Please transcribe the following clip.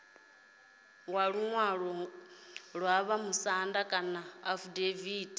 luṅwalo lwa vhamusanda kana afidaviti